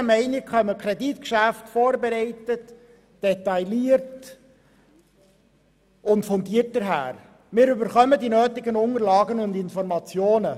Unseres Erachtens kommen die Kreditgeschäfte vorbereitet, detailliert und fundiert daher, und wir erhalten die nötigen Unterlagen und Informationen.